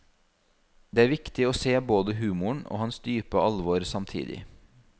Det er viktig å se både humoren og hans dype alvor samtidig.